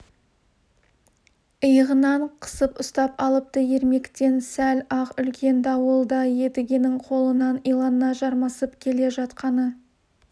иығынан қысып ұстап алыпты ермектен сәл-ақ үлкен дауыл да едігенің қолынан илана жармасып келе жатқаны